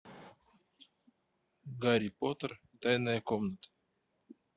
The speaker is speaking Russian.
гарри поттер тайная комната